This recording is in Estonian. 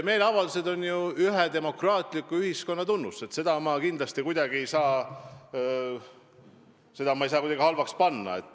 Meeleavaldused on demokraatliku ühiskonna tunnus, neid ei saa ma kindlasti kuidagi pahaks panna.